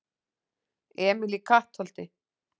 Emil í Kattholti